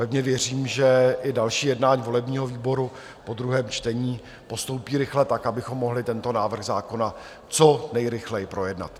Pevně věřím, že i další jednání volebního výboru po druhém čtení postoupí rychle tak, abychom mohli tento návrh zákona co nejrychleji projednat.